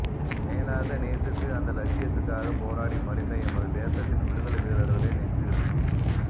மேலாக நேசித்து அந்த இலட்சியத்துக்காக போராடி மடிந்த எமது தேசத்தின் விடுதலை வீரர்களை நெஞ்சிருத்தி